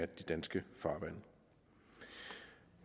de danske farvande